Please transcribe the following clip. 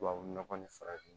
Tubabu nɔgɔ nin farafin